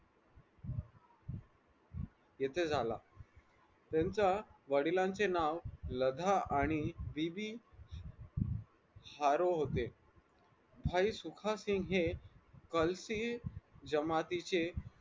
येथे झाला त्यांच्या वडिलांचे नाव लधा आणि बीवी हारो होते भाई सुखसिंग हे कलशी जमातीचे